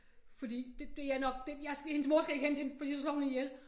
Fordi det det er nok det jeg hendes mor skal ikke hente hende fordi så slår hun hende ihjel